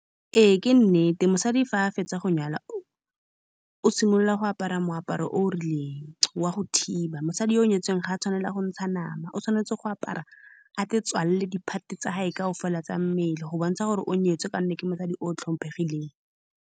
Ee ke nnete, mosadi fa a fetsa go nyalwa o simolola go apara moaparo o o rileng wa go thiba. Mosadi yoo nyetsweng ga a tshwanela go ntsha nama, o tshwanetse go apara aitswalele di-part-e tsa gagwe kaofela tsa mmele, go bontsha gore o nyetswe, ka gonne ke mosadi o o tlhomphegileng.